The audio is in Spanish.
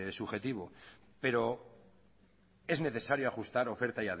subjetivo pero es necesario ajustar oferta